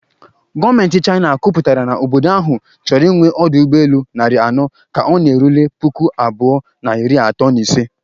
Gọọmenti China kwuputara na obodo ahụ chọrọ ịnwe ọdụ ụgbọ elu narị anọ ka ọ na-erule puku abụọ na iri atọ na ise